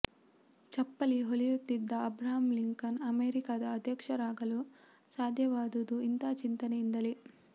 ಚಪ್ಪಲಿ ಹೊಲೆಯುತ್ತಿದ್ದ Abraham Lincoln ಅಮೆರಿಕದ ಅಧ್ಯಕ್ಷರಾಗಲು ಸಾಧ್ಯವಾದುದು ಇಂಥ ಚಿಂತನೆಯಿಂದಲೇ